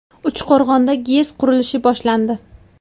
Uchqo‘rg‘onda GES qurilishi boshlandi.